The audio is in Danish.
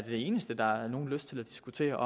eneste der er nogen lyst til at diskutere